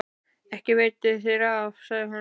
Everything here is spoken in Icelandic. Ekki veitir þér af, sagði hún.